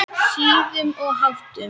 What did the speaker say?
Siðum og háttum.